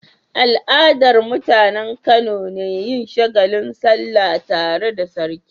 Al'adar mutAnan Kano ne yin shagalin sallah tare da sarki